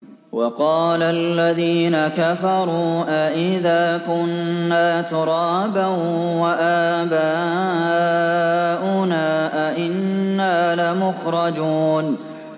وَقَالَ الَّذِينَ كَفَرُوا أَإِذَا كُنَّا تُرَابًا وَآبَاؤُنَا أَئِنَّا لَمُخْرَجُونَ